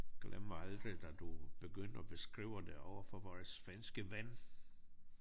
Glemmer aldrig da du begyndte at beskrive det overfor vores svenske ven